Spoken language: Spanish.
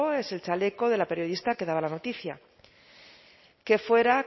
es el chaleco de la periodista que daba la noticia qué fuera